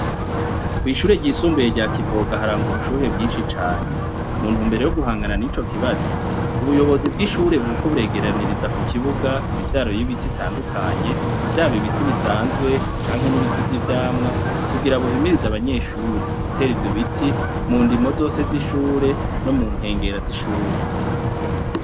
Kw' ishure ryisumbuye rya Kivuga harangwa abushuhe bwinshi cane . Mu ntumbero yo guhangana nico kibazo , umuyobozi bw' ishure buriko buregeraniriza ku kibuga imivyaro y' ibiti bitandukanye, vyaba ibiti bisanzwe canke n' ibiti vy' ivyamwa, kugira buhimiririze abanyeshure gutera ivyo biti mu ndimo zose z' ishure no mu nkengera z' ishure.